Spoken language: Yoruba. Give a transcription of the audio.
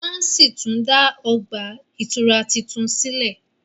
wón sí tún dá ọgbà ìtura títún sílè